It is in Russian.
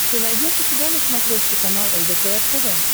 ты найдешь у себя на смотрешке канал лдпр тв